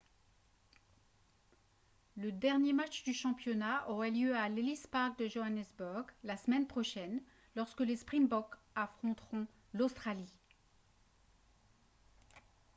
le dernier match du championnat aura lieu à l'ellis park de johannesburg la semaine prochaine lorsque les springboks affronteront l'australie